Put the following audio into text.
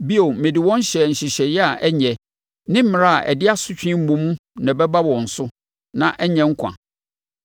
Bio, mede wɔn hyɛɛ nhyehyɛeɛ a ɛnyɛ, ne mmara a ɛde asotwe mmom na ɛbɛba wɔn so, na ɛnyɛ nkwa;